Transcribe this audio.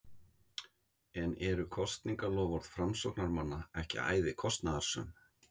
En eru kosningaloforð framsóknarmanna ekki æði kostnaðarsöm?